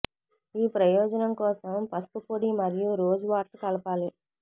ఈ ప్రయోజనం కోసం పసుపు పొడి మరియు రోజ్ వాటర్ కలపాలి